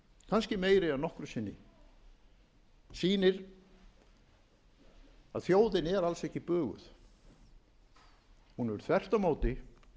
kannski meiri en nokkru sinni sýnir að þjóðin er alls ekki buguð hún hefur þvert á móti